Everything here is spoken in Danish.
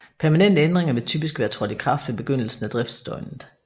Permanente ændringer vil typisk være trådt i kraft ved begyndelsen af driftsdøgnet